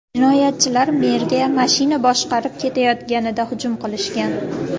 Jinoyatchilar merga mashina boshqarib ketayotganida hujum qilishgan.